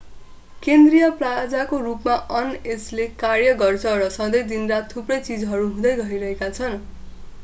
केन्द्रीय प्लाजाको रूपमा अन यसले कार्य गर्छ र सँधै दिन-रात थुप्रै चीजहरू हुँदै गइरहेका छन्